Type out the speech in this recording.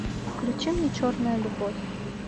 включи мне черная любовь